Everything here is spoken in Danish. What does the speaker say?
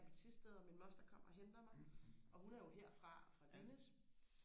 oppe i Thisted og min moster kommer og henter mig og hun er jo her fra fra hendes